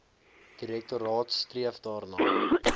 direktoraat streef daarna